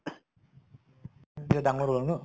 ডাঙৰ হʼলা ন